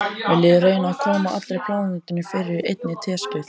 Viljiði reyna að koma allri plánetunni fyrir í einni teskeið.